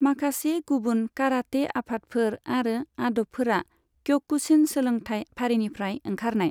माखासे गुबुन काराटे आफादफोर आरो आदबफोरा क्य'कुशिन सोलोंथाय फारिनिफ्राय ओंखारनाय।